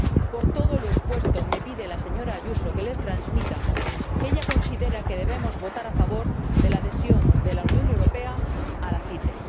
Por todo lo expuesto, me pide la señora Ayuso que les transmita que ella considera que debemos votar a favor de la adhesión de la Unión Europea a la CITES.